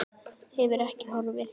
Hefur ekki horfið.